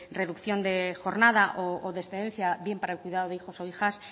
reducción de jornada o de excedencia bien para el cuidado de hijos o hijas